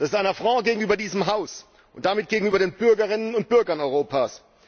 Dies ist ein Affront gegenüber diesem Haus und damit gegenüber den Bürgerinnen und Bürgern Europas!